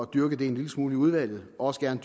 dyrke det en lille smule i udvalget også gerne